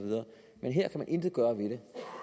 men her kan man intet gøre ved det